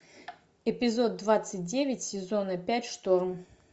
эпизод двадцать девять сезона пять шторм